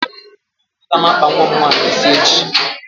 A ga m akpa nwa m nwaanyị ịsị echi